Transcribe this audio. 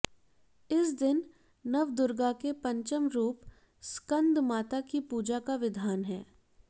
इस दिन नवदुर्गा के पंचम रूप स्कंदमाता के पूजन का विधान है